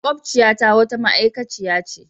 Maƙociyata wata ma'aikaciya ce.